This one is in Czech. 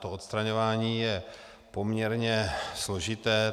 To odstraňování je poměrně složité.